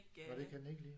Nåh det kan den ikke lide?